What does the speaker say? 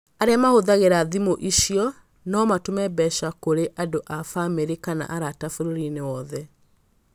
Arĩa mahũthagĩra thimũ icio no matũme mbeca kũrĩ andũ a famĩlĩ kana arata bũrũri-inĩ wothe.